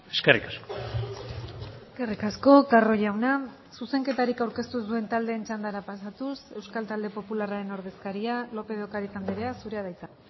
eskerrik asko eskerrik asko carro jauna zuzenketarik aurkeztu ez duen taldeen txandara pasatuz euskal talde popularraren ordezkaria lópez de ocariz andrea zurea da hitza